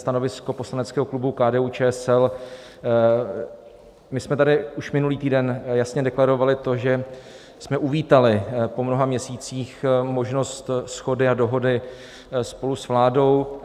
Stanovisko poslaneckého klubu KDU-ČSL: My jsme tady už minulý týden jasně deklarovali to, že jsme uvítali po mnoha měsících možnost shody a dohody spolu s vládou.